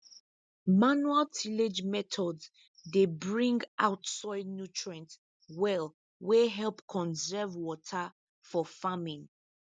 manual tillage methods dey bring out soil nutrients well wey help conserve water for farming